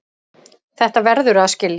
Þetta verðurðu að skilja.